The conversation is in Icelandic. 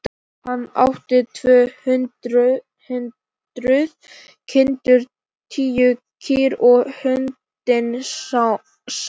Hann átti tvö hundruð kindur, tíu kýr og hundinn Sám.